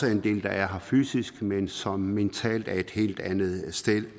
er en del der er her fysisk men som mentalt er et helt andet